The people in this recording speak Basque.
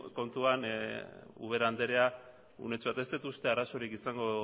kontuan ubera andrea unetxo bat ez dut uste arazorik izango